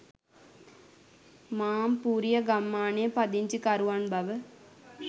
මාම්පූරිය ගම්මානයේ පදිංචිකරුවන් බව